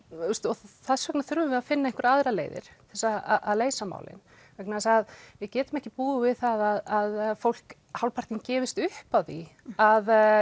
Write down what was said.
þess vegna þurfum við að finna einhverjar aðrar leiðir til þess að leysa málin vegna þess að við getum ekki búið við það að fólk hálfpartinn gefist upp á því að